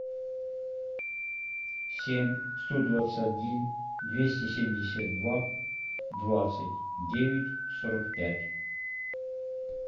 семь сто двадцать один двести семьдесят два двадцать девять сорок пять